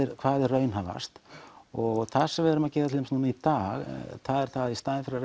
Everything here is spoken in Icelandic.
hvað er raunhæfast og það sem við erum að gera til dæmis í dag það er að í staðinn fyrir